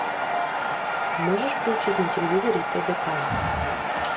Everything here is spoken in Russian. можешь включить на телевизоре тдк